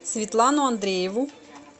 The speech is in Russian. светлану андрееву